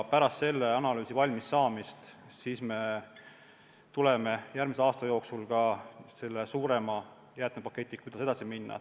Pärast selle analüüsi valmis saamist me tuleme järgmise aasta jooksul välja suurema jäätmepaketiga, kuidas edasi minna.